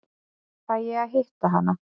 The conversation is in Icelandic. Fæ ég að hitta hana?